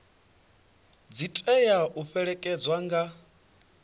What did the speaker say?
dzi tea u fhelekedzwa nga